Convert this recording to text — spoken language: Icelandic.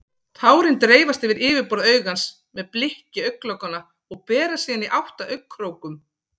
Tárin dreifast yfir yfirborð augans með blikki augnlokanna og berast síðan í átt að augnkrókum.